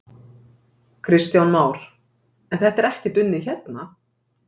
Kristján Már: En þetta er ekkert unnið hérna?